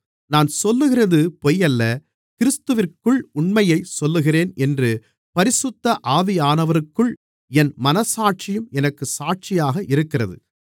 நான் சொல்லுகிறது பொய்யல்ல கிறிஸ்துவிற்குள் உண்மையைச் சொல்லுகிறேன் என்று பரிசுத்த ஆவியானவருக்குள் என் மனச்சாட்சியும் எனக்குச் சாட்சியாக இருக்கிறது